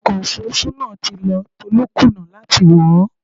Ọkọ̀ Òfurufú náà ti lọ, Tolú kùnà láti wọ̀ ó.